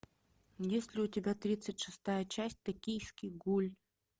есть ли у тебя тридцать шестая часть токийский гуль